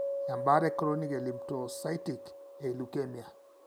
embaata e Chronic lymphocytic e leukemia.